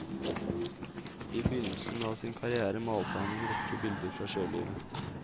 I begynnelsen av sin karriere malte han en rekke bilder fra sjølivet.